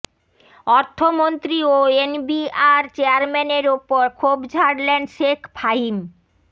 অর্থমন্ত্রী ও এনবিআর চেয়ারম্যানের ওপর ক্ষোভ ঝাড়লেন শেখ ফাহিম